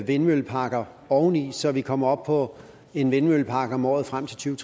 vindmølleparker oveni så vi kommer op på en vindmøllepark om året frem til